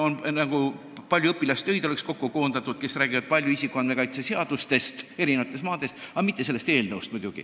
Sinna oleks nagu kokku koondatud palju õpilastöid, kus räägitakse palju isikuandmete kaitse seadustest eri maades, aga muidugi mitte sellest eelnõust.